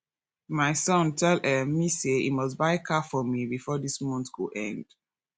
my son tell um me say he must buy car for me before dis month go end